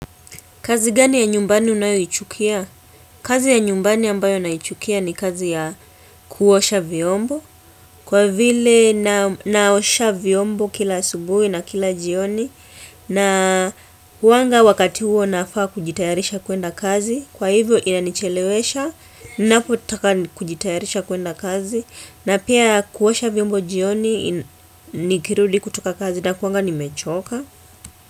Kazi gani ya nyumbani unayoichukia? Kazi ya nyumbani ambayo ninaichukia ni kazi ya kuosha vyombo. Kwa vile naosha vyombo kila asubuhi na kila jioni. Na kuanga wakati huo nafaa kujitayarisha kwenda kazi. Kwa hivyo ina nichelewesha. Napo taka kujitayarisha kwenda kazi. Na pia kuosha vyombo jioni nikirudi kutoka kazi nakuanga nimechoka.